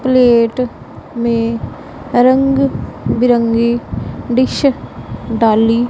plate में रंग बिरंगी डिश डाली--